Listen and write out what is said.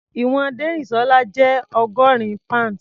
Ìwọ̀n Dérìsọ́lá jẹ́ ọgọ́rin pounds.